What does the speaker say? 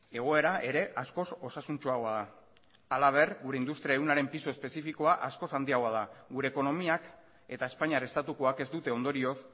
egoera ere askoz osasuntsuagoa da halaber gure industria ehunaren pisu espezifikoa askoz handiagoa da gure ekonomiak eta espainiar estatukoak ez dute ondorioz